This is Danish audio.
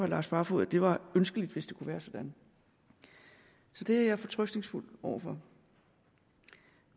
lars barfoed at det var ønskeligt hvis det kunne være sådan så det er jeg fortrøstningsfuld over for